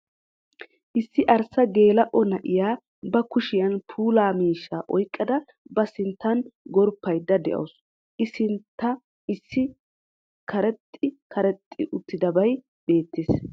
Issi arssa geela'o na'iya ba kushiyan puulaa miishsha oyqqada ba sinttan gorppayda de'awusu, I sintta issi karexxi karexxi uttidabay beettees.